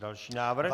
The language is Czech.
Další návrh.